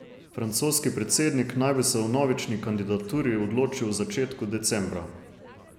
Francoski predsednik naj bi se o vnovični kandidaturi odločil v začetku decembra.